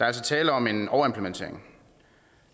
altså tale om en overimplementering